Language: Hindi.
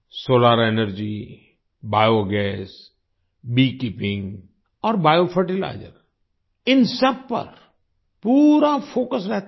solar energy biogas bee keeping और बियो फर्टिलाइजर्स इन सब पर पूरा फोकस रहता है